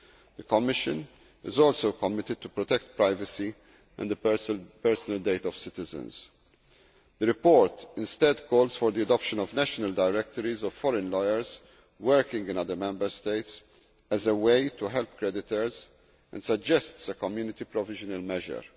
The Commission is also committed to protecting privacy and the personal data of citizens. The report instead calls for the adoption of national directories of foreign lawyers working in other Member States as a way to help creditors and suggests a Community provisional measure.